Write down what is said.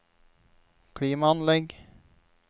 klimaanlegg